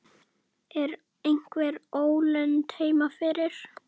Er einhver ólund heima fyrir?